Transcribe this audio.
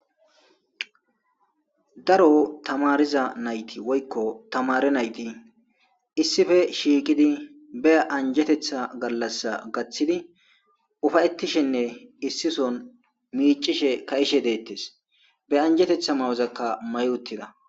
Daro tamarida nayiti woyiko tamare nayiti issipe shiqidi be ajetetha galasa gathidi upayetishene issi soo micishene ka'ishe de'etes he anjetetha mayoka mayi utida